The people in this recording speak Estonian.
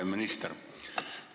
Hea minister!